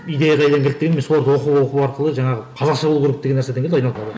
идея қайдан келді дегенде мен соларды оқу оқу арқылы жаңағы қазақша болу керек деген нарседен келді